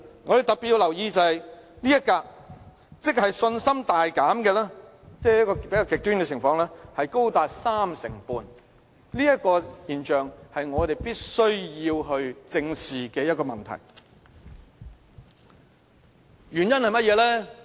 我們特別要留意這一格，即信心大減這比較極端的情況高達 35%， 這種現象是我們必須正視的問題。